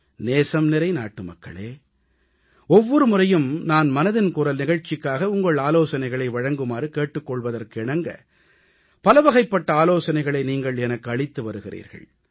நேசம்நிறை நாட்டுமக்களே ஒவ்வொரு முறையும் நான் மனதின் குரல் நிகழ்ச்சிக்காக உங்களை ஆலோசனைகளை வழங்குமாறு கேட்டுக் கொள்வதற்கு இணங்க பலவகைப்பட்ட ஆலோசனைகளை நீங்கள் எனக்கு அளித்து வருகிறீர்கள்